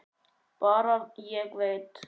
Bara: Ég veit.